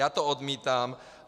Já to odmítám.